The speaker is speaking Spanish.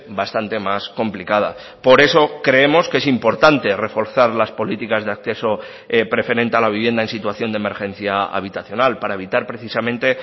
bastante más complicada por eso creemos que es importante reforzar las políticas de acceso preferente a la vivienda en situación de emergencia habitacional para evitar precisamente